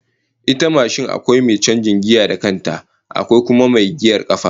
Ita ma mashin akwai mai canjin giya da kanta, akwai kuma mai giyar kafa